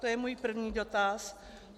To je můj první dotaz.